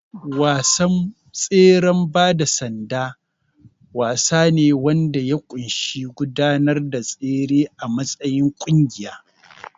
Wasan tseren bada sanda wasa ne wanda ya ƙunshi gudanar da tsere a matsayin ƙungiya.